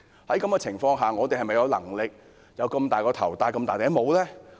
在這種情況下，我們是否有能力，承擔那麼大的工程呢？